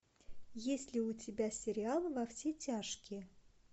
есть ли у тебя сериал во все тяжкие